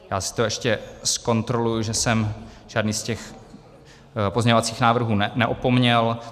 Já si to ještě zkontroluji, že jsem žádný z těch pozměňovacích návrhů neopomněl.